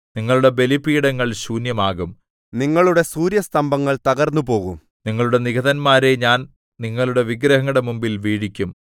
നിങ്ങളുടെ ബലിപീഠങ്ങൾ ശൂന്യമാകും നിങ്ങളുടെ സൂര്യസ്തംഭങ്ങൾ തകർന്നുപോകും നിങ്ങളുടെ നിഹതന്മാരെ ഞാൻ നിങ്ങളുടെ വിഗ്രഹങ്ങളുടെ മുമ്പിൽ വീഴിക്കും